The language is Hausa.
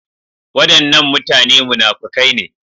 Wadannan mutane munafukai ne.